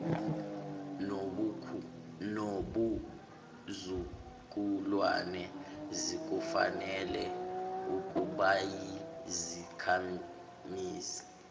nobuzukulwane zikufanele ukubayizakhamizi